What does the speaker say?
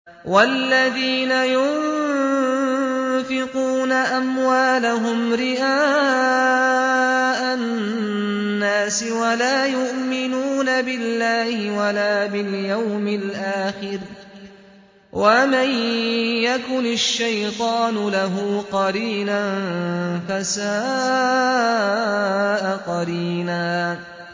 وَالَّذِينَ يُنفِقُونَ أَمْوَالَهُمْ رِئَاءَ النَّاسِ وَلَا يُؤْمِنُونَ بِاللَّهِ وَلَا بِالْيَوْمِ الْآخِرِ ۗ وَمَن يَكُنِ الشَّيْطَانُ لَهُ قَرِينًا فَسَاءَ قَرِينًا